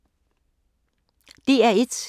DR1